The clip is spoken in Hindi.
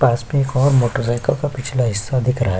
पास में एक और मोटर साइकिल का पिछला हिस्सा दिख रहा हैं।